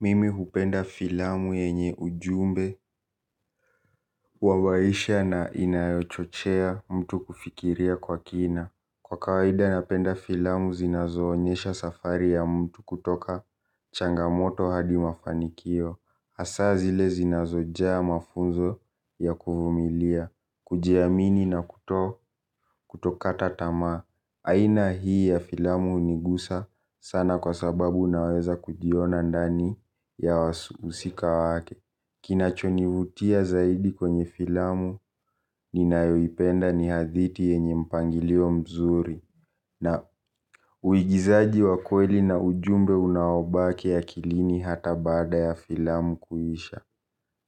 Mimi hupenda filamu yenye ujumbe wa maisha na inayochochea mtu kufikiria kwa kina kwa kawaida napenda filamu zinazo onyesha safari ya mtu kutoka changamoto hadi mafanikio hasa zile zinazojaa mafunzo ya kuvumilia kujiamini na kuto kutokata tamaa. Aina hii ya filamu hunigusa sana kwa sababu naweza kujiona ndani ya wahusika wake kinachonivutia zaidi kwenye filamu ni nayoipenda ni hadithi yenye mpangilio mzuri. Na uigizaji wa kweli na ujumbe unaobaki akilini hata baada ya filamu kuisha.